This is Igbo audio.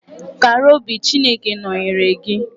Kara obi, Chineke nọnyeere gị.